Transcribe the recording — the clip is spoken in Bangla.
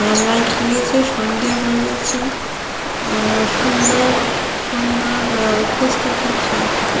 আহ লাইট লেগেছে সন্ধ্যে হয়ে গেছে | আহ সুন্দর সুন্দর আহ অফিস -টা খুব --